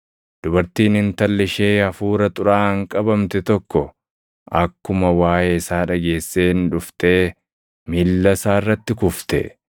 Dubartiin intalli ishee hafuura xuraaʼaan qabamte tokko akkuma waaʼee isaa dhageesseen dhuftee miilla isaa irratti kufte.